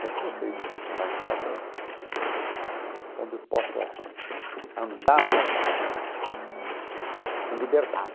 Sempre gostei de morar em casas onde eu possa andar à vontade, com liberdade.